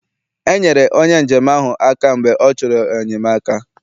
Enyere onye njem ahụ aka mgbe ọ chọrọ enyemaka